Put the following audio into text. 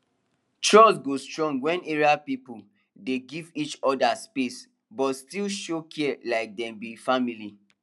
trust go strong wen area people dey give each other space but still show care like dem be family